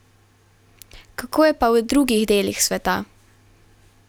Kako je pa v drugih delih sveta?